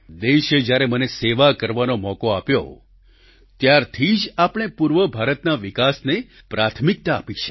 દેશે જ્યારે મને સેવા કરવાનો મોકો આપ્યો ત્યારથી જ આપણે પૂર્વ ભારતના વિકાસને પ્રાથમિકતા આપી છે